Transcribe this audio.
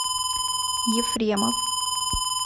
ефремов